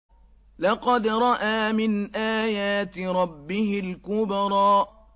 لَقَدْ رَأَىٰ مِنْ آيَاتِ رَبِّهِ الْكُبْرَىٰ